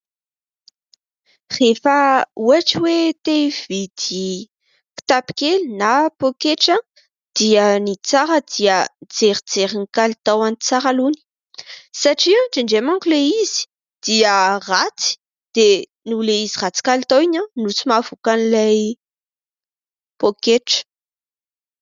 Rehefa ohatra hoe tia hividy kitapo kely na pôketra dia ny tsara dia mijerijery ny kalitaoany tsara aloha. Satria indray indray manko ilay izy dia ratsy dia noho izy ratsy kalitao iny no tsy mampivoaka an'ilay pôketra.